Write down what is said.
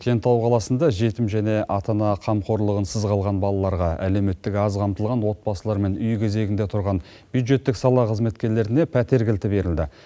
кентау қаласында жетім және ата ана қамқорлығынсыз балаларға әлеуметтік аз қамтылған отбасылар мен үй кезегінде тұрған бюджеттік сала қызметкерлеріне пәтер кілті берілді